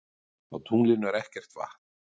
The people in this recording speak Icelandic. Á tunglinu er ekkert vatn.